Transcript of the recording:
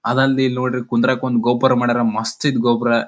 ಅದಲ್ದೆ ಇಲ್ ನೋಡ್ರಿ ಕುದ್ರಾಕ್ ಒಂದು ಗೋಪುರ ಮಾಡ್ಯಾರ ಮಸ್ತ್ ಐತ್ ಗೋಪುರ.